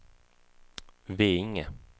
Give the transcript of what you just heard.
Veinge